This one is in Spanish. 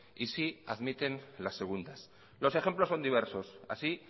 y sí admiten las segundas los ejemplos son diversos así